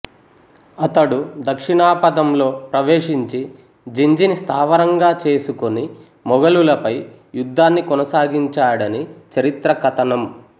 అతడు దక్షిణాపథంలో ప్రవేశించి జింజిని స్థావరంగా చేసుకొని మొగలులపై యుద్ధాన్ని కొనసాగించాడని చరిత్ర కథనం